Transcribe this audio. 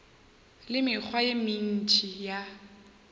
le mekgwa ye mentši ya